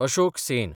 Ashok Sen